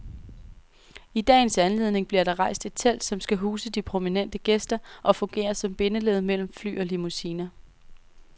I dagens anledning bliver der rejst et telt, som skal huse de prominente gæster og fungere som bindeled mellem fly og limousiner.